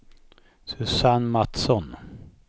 Susanne Matsson